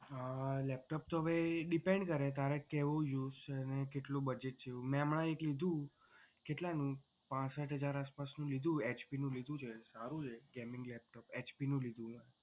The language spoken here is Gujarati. હા laptop તો ભાઈ depend કરે અત્યારે કેવું use છે. અને કેટલું budget છે એવું મે હમણાં એક લીધું કેટલાનું પાંસઠ હજાર આસપાસ નું લીધું HP નું લીધું છે સારું છે gaming laptop HP નું લીધું છે.